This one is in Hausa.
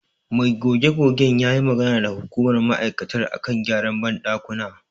Mai goge-gogen ya yi magana da hukumar ma'aikatar a kan gyaran banɗakuna.